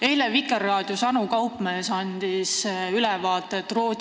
Eile andis Anu Kaupmees Vikerraadios ülevaate Rootsis toimuvast.